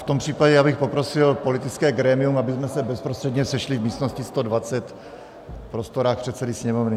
V tom případě bych prosil politické grémium, abychom se bezprostředně sešli v místnosti 120, v prostorách předsedy Sněmovny.